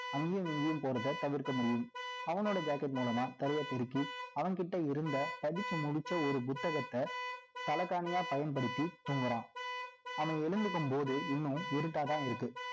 அங்கேயும், இங்கேயும் போறதை தவிர்க்க முடியும் அவனோட jacket மூலமா, தரைய பெருக்கி, அவன்கிட்ட இருந்த படிச்சு முடிச்ச, ஒரு புத்தகத்தை, தலைகாணியா பயன்படுத்தி தூங்குறான் அவன் எழுந்திருக்கும் போது இன்னும் இருட்டாதான் இருக்கு